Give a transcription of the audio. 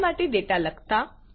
file માટે data લખતા